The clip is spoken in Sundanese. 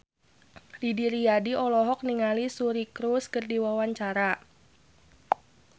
Didi Riyadi olohok ningali Suri Cruise keur diwawancara